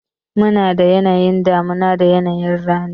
Munada yanayin damuna da yanayi rani.